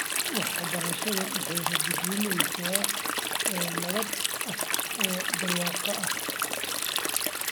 Waxbarashadu waxay rajo gelinaysaa oo nabad ah oo barwaaqo ah.